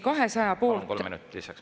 Kolm minutit lisaks.